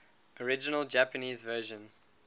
original japanese version